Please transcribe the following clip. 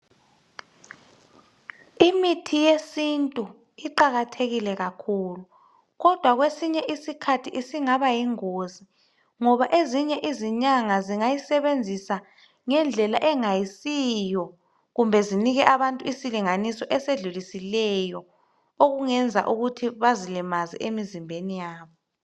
Imithi yesintu iqakathekile kakhulu kodwa kwesinye isikhathi isingaba yingozi ngoba ezinye izinyanga zingayisebenzisa ngendlela engasiyo kumbe zinike abantu isilinganiso esedlulisileyo okungenza ukuthi bazilimaze emzimbeni wabo.